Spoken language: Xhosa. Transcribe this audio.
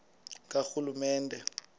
karhulumente